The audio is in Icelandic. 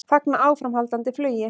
Fagna áframhaldandi flugi